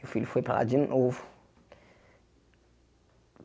Meu filho foi para lá de novo.